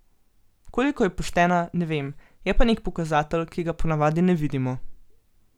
Koliko je poštena, ne vem, je pa nek pokazatelj, ki ga ponavadi ne vidimo.